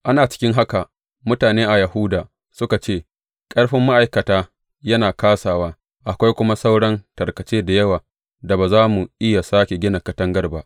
Ana cikin haka, mutane a Yahuda suka ce, Ƙarfin ma’aikata yana kāsawa, akwai kuma sauran tarkace da yawa da ba za mu iya sāke gina katangar ba.